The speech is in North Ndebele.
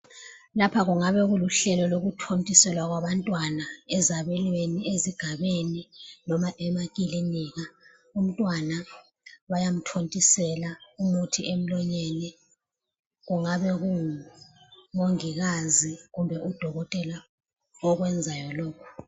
Lapha kungabe kuluhlelo lokuthontisela kwabantwana ,ezabelweni, ezigabeni loba emakilinika , umtwana bayamthontisela umuthi emlonyeni kungabe kungu mongikazi kumbe udokotela okwenzayo lokho